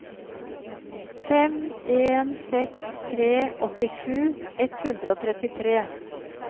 fem en seks tre åttisju ett hundre og trettitre